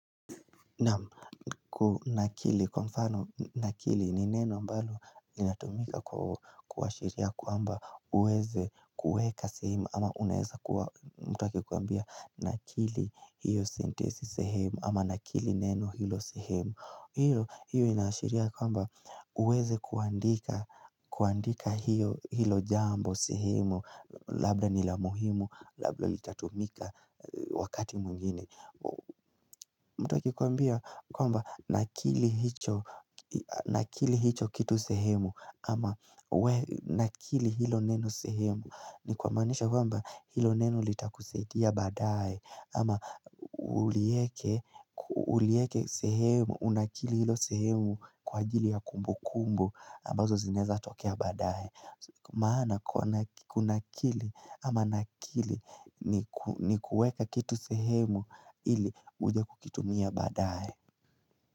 Naam kili kwa mfano na kili ni neno ambalo linatumika kua shiria kwamba uweze kuweka sehemu ama unaeza kuwa mtu aki kuambia na kili hiyo sentensi sehemu ama na kili neno hilo sehemu hiyo innashiria kwamba uweze kuandika kuandika hiyo hilo jambo sehemu labda nila muhimu labda litatumika wakati mwingine mtu akikuambia kwamba nakili hicho kitu sehemu ama nakili hilo neno sehemu ni kumaanisha kwamba hilo neno litakusaidia badaaye ama ulieke sehemu Unakili hilo sehemu kwa ajili ya kumbu kumbu ambazo zinaweza tokea baadaye Maana kunakili ama nakili ni kueka kitu sehemu ili uje kukitumia baadaye.